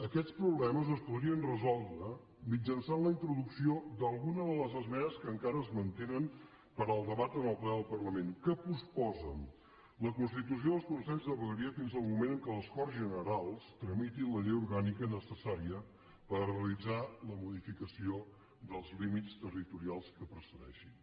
aquests problemes es podrien resoldre mitjançant la introducció d’alguna de les esmenes que encara es mantenen per al debat en el ple del parlament que posposen la constitució dels consells de vegueria fins al moment en què les corts generals tramitin la llei orgànica necessària per a realitzar les modificacions dels límits territorials que procedeixin